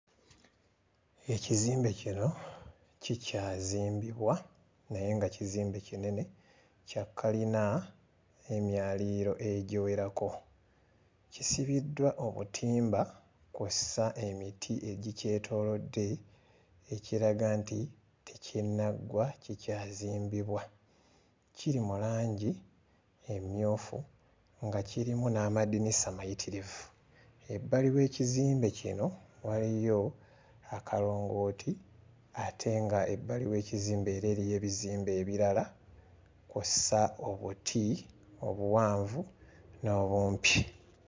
Ekizimbe kino kikyazimbibwa naye nga kizimbe kinene kya kalina ey'emyaliriro egiwerako. Kisibiddwa obutimba kw'ossa emiti egikyetoolodde ekiraga nti tekinnaggwa kikyazimbibwa. Kiri mu langi emmyufu nga kirimu n'amadinisa mayitirivu, ebbali w'ekizimbe kino waliyo akalongooti ate ng'ebbali w'ekizimbe era eriyo ebizimbe ebirala kw'ossa obuti obuwanvu n'obumpi.